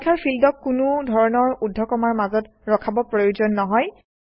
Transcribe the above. সংখ্যাৰ ফিল্ডক কোনো ধৰণৰ ঊৰ্ধ্বকমাৰ মাজত ৰখাৰ প্ৰয়োজন নহয়